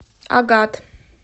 агат